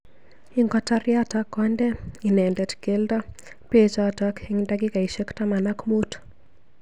Ingotar yotok konde inendet keldo bechotok eng dakikaishek taman ak mut.